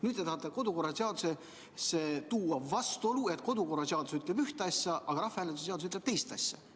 Nüüd te tahate tuua kodu- ja töökorra seadusesse vastuolu, nii et see seadus ütleks üht asja, aga rahvahääletuse seadus ütleks teist asja.